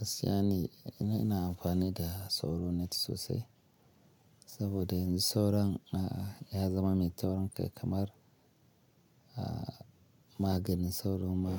Hasiyane ne ina amfani da sauro net sosai, saboda in sauron a'a ya zama mai taurin kai kamar a maganin sauro ma